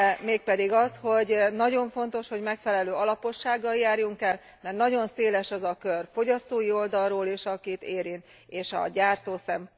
Mégpedig az, hogy nagyon fontos, hogy megfelelő alapossággal járjunk el, mert nagyon széles az a kör fogyasztói oldalról is, akit érint és a gyártó szempontjából is.